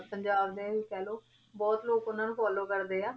ਪੰਜਾਬ ਦੇ ਕਹਿ ਲਓ ਬਹੁਤ ਲੋਕ ਉਹਨਾਂ ਨੂੰ follow ਕਰਦੇ ਆ।